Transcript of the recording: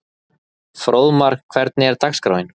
Fróðmar, hvernig er dagskráin?